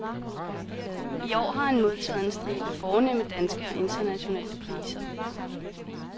I år har han modtaget en stribe fornemme danske og internationale priser.